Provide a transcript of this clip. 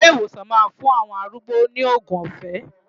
Ilé ìwòsàn máa fún àwọn arúgbó ní òògùn ọ̀fẹ́.